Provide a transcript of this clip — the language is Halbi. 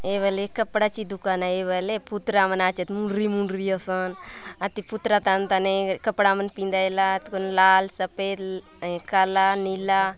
ए वाले कपड़ा के दुकान ए वाले पुतरा मन आचे मुर्री मुर्री आसान आती पुतरा तान ताने कपड़ा कोनो लाल सफेद काला नीला--